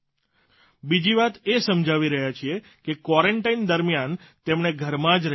બીજી વાત એ સમજાવી રહ્યા છીએ કે ક્વોરન્ટાઇન દરમિયાન તેમણે ઘરમાં જ રહેવાનું છે